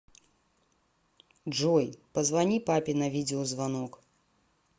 джой позвони папе на видеозвонок